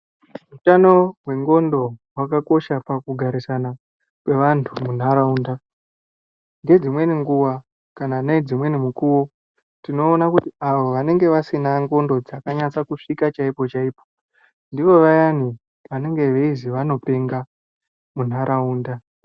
Utano hwengondo hwakakosha pakugarisana kwevantu munharaunda. Ngedzimweni nguwa kana nedzimweni mukuwo tinoona kuti ,avo vanenge vasina ngondo dzakanyatsa kusvika chaipoipo, ndivo vayani vanozi vanopenga munharaunda.